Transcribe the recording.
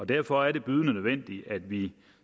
derfor er det bydende nødvendigt at vi